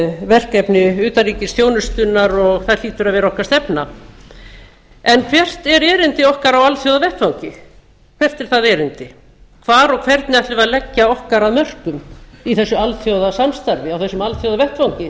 verkefni utanríkisþjónustunnar og það hlýtur að vera stefna okkar en hvert er erindi okkar á alþjóðavettvangi hvert er það erindi hvar og hvernig ætlum við að leggja okkar af mörkum í þessu alþjóðasamstarfi á þessum alþjóðavettvangi